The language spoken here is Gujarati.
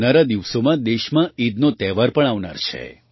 આવનારા દિવસાં દેશમાં ઈદનો તહેવાર પણ આવનાર છે